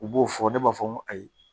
U b'o fɔ ne b'a fɔ n ko ayiwa